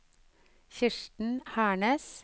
Kirsten Hernes